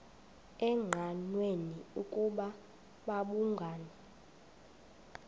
engqanweni ukuba babhungani